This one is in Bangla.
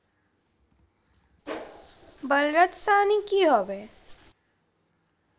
বলরাজ সাহানি কি হবে?